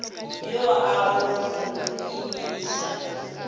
yo a go mo imiša